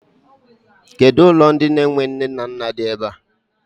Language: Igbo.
Kedụ ụlọ ndị enwe nne na nna di ebe a?